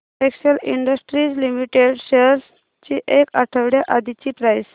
Excel Industries Limited shares ची एक आठवड्या आधीची प्राइस